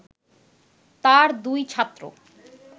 তাঁর দুই ছাত্র